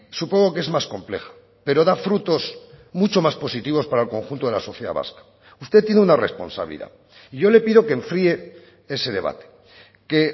supongo que es más compleja pero da frutos mucho más positivos para el conjunto de la sociedad vasca usted tiene una responsabilidad y yo le pido que enfríe ese debate que